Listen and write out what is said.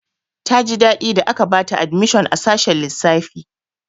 Ta ji daɗi da aka bata admishon a sashin lissafi.